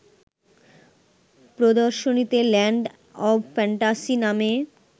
প্রদর্শনীতে land of fantasy নামে